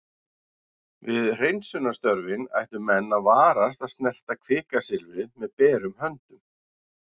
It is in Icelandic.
við hreinsunarstörfin ættu menn að varast að snerta kvikasilfrið með berum höndum